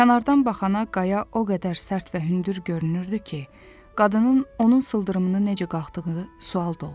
Kənardan baxana qaya o qədər sərt və hündür görünürdü ki, qadının onun sıldırımını necə qalxdığı sual doğururdu.